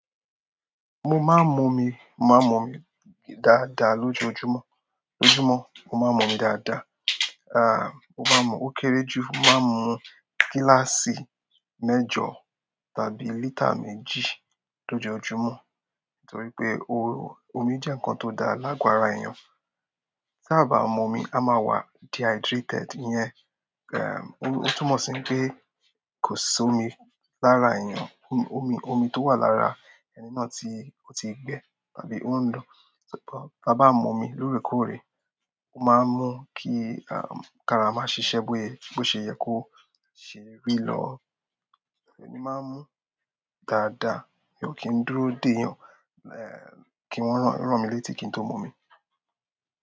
Mo máa ń mu omi, mo máa ń mu omi dáadáa lójoojúmọ́. Ojúmọ́, mo máa ń mu omi dáadáa. Ah! Mo máa ń mu ó kéré jù máa ń mu gíláàsì mẹ́jọ tàbí lítà méjì lójoojúmọ́. Nítorí pé o-omi jẹ́ ǹkan tó dáa láàgò ara èèyàn. Ta bá mú omi, a máa wà dehydrated. Iyẹn, ẹm, ó-ó túmọ̀ sí pé kò sí omi lára èèyàn. Omi, omi tó wà lára ẹni náà tí ó ti gbẹ tàbí ó ń lọ. Bí a bá mú omi lóòrèkóòrè, ó máa ń mú kí, aàh, karama ṣiṣẹ́ bóye, bó ṣe yẹ kó ṣe rí lọ́. Èmi máa ń mu dáadáa. Èyí ó kí ń dúró dèyàn. Ehn, kí wọ́n rán, rán mi létí kí n tó mu omi.